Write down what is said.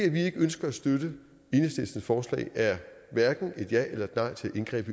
at vi ikke ønsker at støtte enhedslistens forslag er hverken et ja eller nej til et indgreb